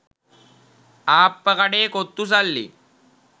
ආප්ප කඩේ කොත්තු සල්ලි